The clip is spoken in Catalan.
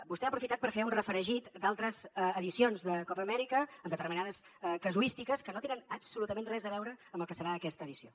vostè ha aprofitat per fer un refregit d’altres edicions de copa amèrica amb determinades casuístiques que no tenen absolutament res a veure amb el que serà aquesta edició